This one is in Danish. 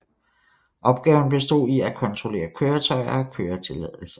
Opgaven bestod i at kontrollere køretøjer og køretilladelser